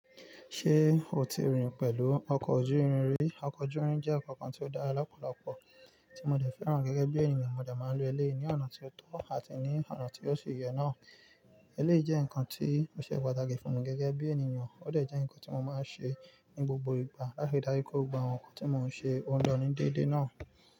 Ṣé o ti rìn pẹ̀lú ọkọ̀ ojú irin rí? Ọkọ̀ ojú omi jẹ́ nǹkan kan tí ó dára lọ́pọ̀lọpọ̀ tí mo dẹ̀ fẹ́ràn gẹ́gẹ́ bí ènìyàn. Mo dẹ̀ máa ń lo eléyìí ní ọ̀nà tó tọ́ àti ní ọ̀nà tí ó ṣi ye náà. Eléyìí jẹ́ nǹkan tí ó ṣe pàtàkì fún mi gẹ́gẹ́ bí ènìyàn, ó dẹ̀ jẹ́ nǹkan tí mo máa ń ṣe ní gbogbo ìgbà, láti rí dajú pé gbogbo àwọn nǹkan tí mò ń ṣe, ó ń lọ ní déédéé náà.